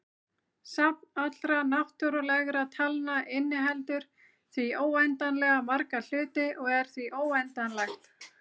Safn allra náttúrulegra talna inniheldur því óendanlega marga hluti og er því óendanlegt.